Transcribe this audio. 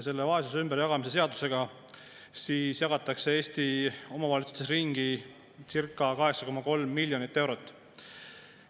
Selle vaesuse ümberjagamise seadusega jagatakse Eesti omavalitsustes ringi circa 8,3 miljonit eurot.